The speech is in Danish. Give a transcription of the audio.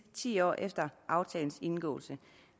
ti år efter aftalens indgåelse